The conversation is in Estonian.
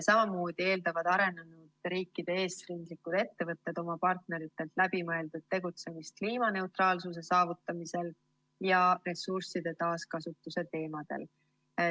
Samamoodi eeldavad arenenud riikide eesrindlikud ettevõtted oma partneritelt läbimõeldud tegutsemist kliimaneutraalsuse saavutamisel ja ressursside taaskasutuse teemadel.